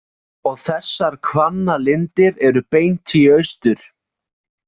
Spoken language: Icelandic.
Og þessar Hvannalindir eru beint í austur?